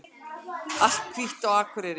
Allt hvítt á Akureyri